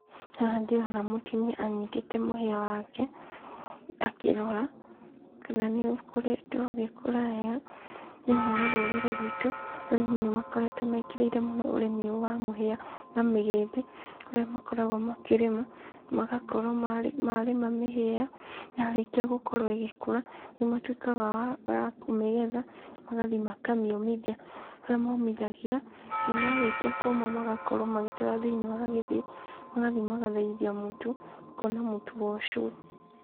Haha ndĩrona mũtumia anyitĩte mũhĩa wake akĩrora kana nĩũkoretwo ũgĩkũra wega, thĩinĩ wa rũrĩrĩ rwitũ, arĩmi nĩ makoretwo mekĩrĩire mũno ũrĩmi ũyũ wa mũhĩa na mĩgĩmbĩ, kũrĩa makoragwo makĩrĩma magakorwo marĩma mĩhĩa ĩyo, yarĩkia gũkorwo ĩgĩkũra nĩ matuĩkaga a kũmĩgetha magathiĩ makamĩũmithia, harĩa momithagia, na marĩkia kuuma magakorwo magĩtwara thĩinĩ wa gĩthĩi, magathiĩ magathĩithia mũtu makona mũtu wa ũcũrũ.